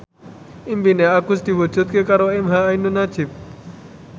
impine Agus diwujudke karo emha ainun nadjib